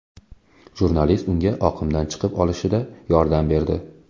Jurnalist unga oqimdan chiqib olishida yordam berdi.